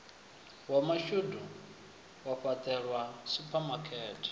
wa mashudu wa fhaṱelwa suphamakete